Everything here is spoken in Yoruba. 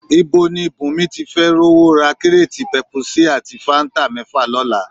Ibo ni Bùnmi tí fẹ́ rówó ra kíréètì pẹpusí ati fáńtà mẹ́fà lọ́la?